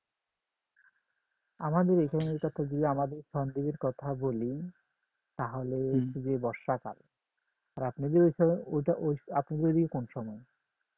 আমাদের এইখানে কথা যদি আমরা এই কথা বলি তাহলে গিয়ে বর্ষাকাল আর আপনাদের ওইটা ঐদিকে আপনাদের ঐদিকে কোন সময়